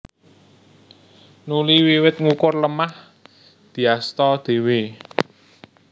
Nuli wiwit ngukur lemah diasta dhéwé